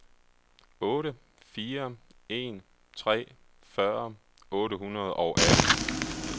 otte fire en tre fyrre otte hundrede og atten